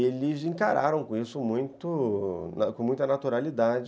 Eles encararam com isso, muito... com muita naturalidade.